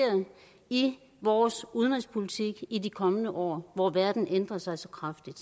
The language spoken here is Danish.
i vores udenrigspolitik i de kommende år hvor verden ændrer sig så kraftigt